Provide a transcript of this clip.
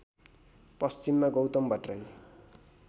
पश्चिममा गौतम भट्टराई